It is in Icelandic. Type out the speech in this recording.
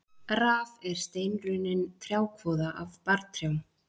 Raf er steinrunnin trjákvoða af barrtrjám.